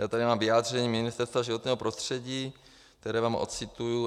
Já tady mám vyjádření Ministerstva životního prostředí, které vám ocituju.